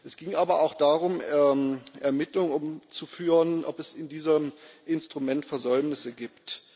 Es ging aber auch darum, Ermittlungen zu führen, ob es in diesem Instrument Versäumnisse gibt.